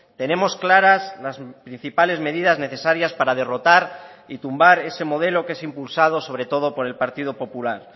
tenemos claras las principales medidas necesarias para derrotar y tumbar ese modelo que es impulsado sobre todo por el partido popular